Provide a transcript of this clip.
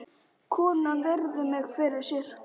Konan virðir mig fyrir sér.